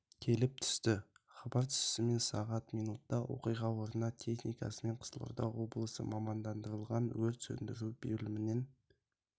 келіп түсті хабар түсісімен сағат минутта оқиға орнына техникасымен қызылорда облысы мамандандырылған өрт сөндіру бөлімінен